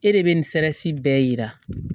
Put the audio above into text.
E de bɛ nin sɛrɛsi bɛɛ yira